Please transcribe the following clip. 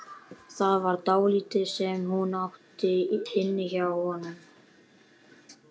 Það var dálítið sem hún átti inni hjá honum.